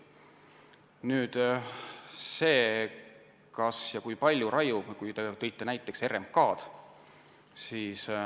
Nüüd sellest, kas ja kui palju me raiume – te tõite näiteks RMK.